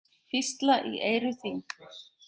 Hvísla í eyru þín.